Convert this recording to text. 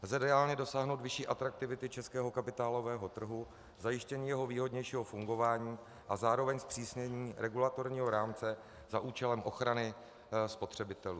Lze reálně dosáhnout vyšší atraktivity českého kapitálového trhu, zajištění jeho výhodnějšího fungování a zároveň zpřísnění regulatorního rámce za účelem ochrany spotřebitelů.